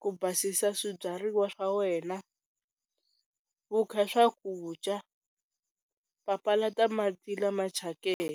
ku basisa swibyariwa swa wena, wu kha swakudya, papalata mati lama tshakeke.